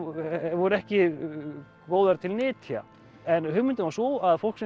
voru ekki góðar til nytja en hugmyndin var sú að fólk